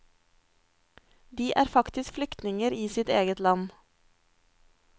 De er faktisk flyktninger i sitt eget land.